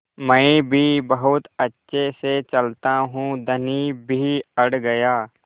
मैं भी बहुत अच्छे से चलता हूँ धनी भी अड़ गया